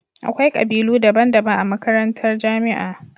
Akwai kabilu daban daban a majakantar jamia